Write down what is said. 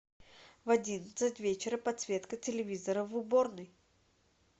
в одиннадцать вечера подсветка телевизора в уборной